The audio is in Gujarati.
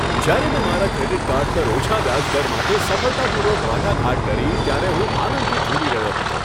જ્યારે મેં મારા ક્રેડિટ કાર્ડ પર ઓછા વ્યાજ દર માટે સફળતાપૂર્વક વાટાઘાટ કરી, ત્યારે હું આનંદથી ઝૂમી રહ્યો હતો.